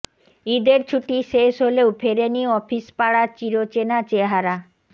ঈদের ছুটি শেষ হলেও ফেরেনি অফিস পাড়ার চিরচেনা চেহারা